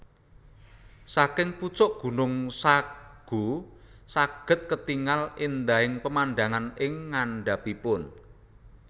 Saking pucuk gunung Sago saged ketingal endahing pemandangan ing ngandhapipun